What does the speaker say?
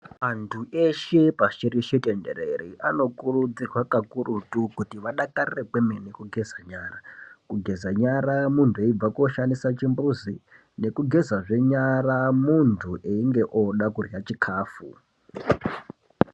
Antu eshe pashireshe tenderere anokurudzirwa kukurutu kuti vadakarire kwemene kungeze nyara. Kugeza nyara muntu aibve koshandisa chimbuzi kugezezve nyara muntu einge oda kurye chikafu.